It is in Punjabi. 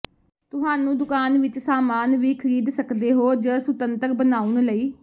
ਤੁਹਾਨੂੰ ਦੁਕਾਨ ਵਿਚ ਸਾਮਾਨ ਵੀ ਖਰੀਦ ਸਕਦੇ ਹੋ ਜ ਸੁਤੰਤਰ ਬਣਾਉਣ ਲਈ